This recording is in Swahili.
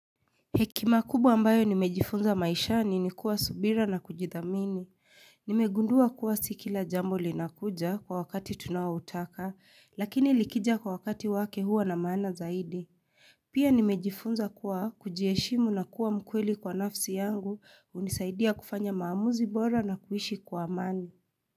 Hekima kubwa ambayo nimejifunza maishani ni kuwa subira na kujithamini. Nimegundua kuwa sikila jambo linakuja kwa wakati tunao utaka, lakini likija kwa wakati wake huwa na maana zaidi. Pia nimejifunza kuwa kujiheshimu na kuwa mkweli kwa nafsi yangu unisaidia kufanya maamuzi bora na kuishi kwa amani.